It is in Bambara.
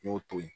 N y'o to ye